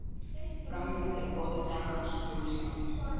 Framundan eru góðir dagar og skjólsælir.